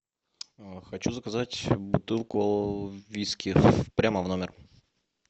хочу заказать бутылку виски прямо в номер